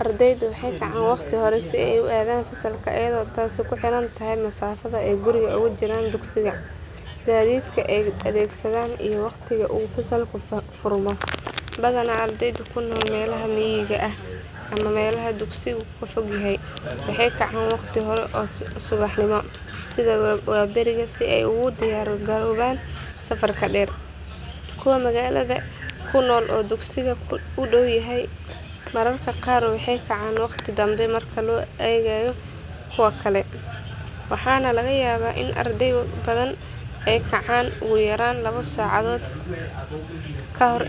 Ardeyda waxee ka can waqti hore si ee u adhan fasalka iyada oo tasi ku xirantahay masafaada ee guriga ugu jiran, gadidka ee adhesadan iyo waqtiga u furmo badana ardeyda kunol melaha miga ama melaha dugsigu kafogyahay, waxee kacan waqti hore kuwa magalada kunol waxaa laga yawa in adreyda qar ee kacan lawa sac kahore,